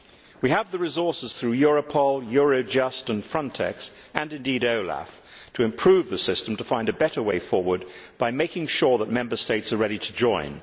We have the resources through Europol, Eurojust and Frontex and indeed OLAF to improve the system, to find a better way forward by making sure that Member States are ready to join.